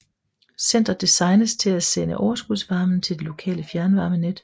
Centret designes til at sende overskudsvarmen til det lokale fjernvarmenet